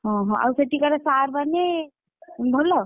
ଓହୋ ଆଉ ସେଠିକାର sir ମାନେ ଭଲ?